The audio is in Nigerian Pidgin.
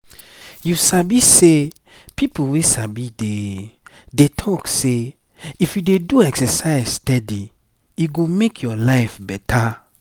you sabi sey people wey sabi dey dey talk say if you dey do exercise steady e go make your life better.